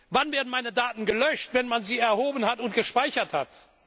Wann werden meine Daten gelöscht, wenn man sie erhoben und gespeichert hat?